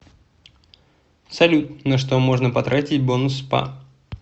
салют на что можно потратить бонус спа